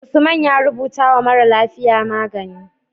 Usman ya rubata wa mara lafiya magani